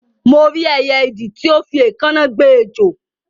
Mo rí ẹyẹ idì ti o fi éèkáná gbe ejò